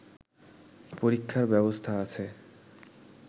পরীক্ষার ব্যবস্থা আছে